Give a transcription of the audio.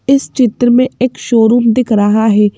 इस चित्र में एक शोरूम दिख रहा है।